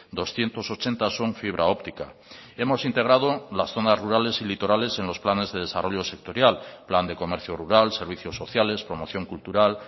doscientos ochenta son fibra óptica hemos integrado las zonas rurales y litorales en los planes de desarrollo sectorial plan de comercio rural servicios sociales promoción cultural